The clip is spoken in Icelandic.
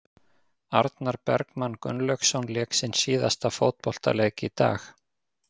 Arnar Bergmann Gunnlaugsson lék sinn síðasta fótboltaleik í dag.